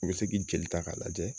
U be se k'i jeli ta k'a lajɛ